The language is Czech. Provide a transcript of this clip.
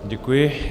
Děkuji.